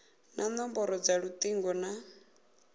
na nomboro dza lutingo na